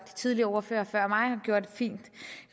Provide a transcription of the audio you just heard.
tidligere ordførere før mig har gjort fint